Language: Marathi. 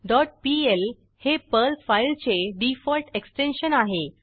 डॉट पीएल हे पर्ल फाईलचे डिफॉल्ट एक्स्टेन्शन आहे